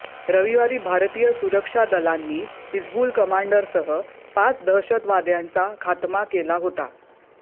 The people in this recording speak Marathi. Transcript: रविवारी भारतीय सुरक्षा दलांनी हिजबुल कमांडरसह पाच दहशतवाद्यांचा खात्मा केला होता